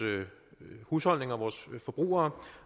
husholdninger vores forbrugere